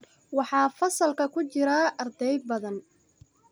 Waxaa fasalka ku jira arday badan